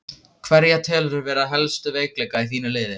Hverja telurðu vera helstu veikleika í þínu liði?